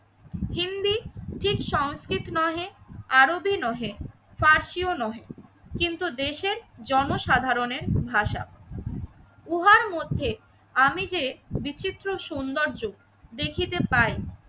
ঠিক সংস্কৃত নহে, আরবী নহে, পারসি ও নহে কিন্তু দেশের জনসাধারণের ভাষা। উহার মধ্যে আমি যে বিচিত্র সৌন্দর্য দেখিতে পাই